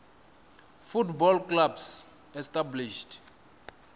football clubs established